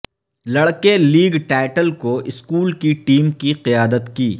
لڑکے league title کو school کی ٹیم کی قیادت کی